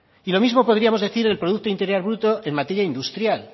y lo mismo podríamos decir del producto interior bruto en materia industrial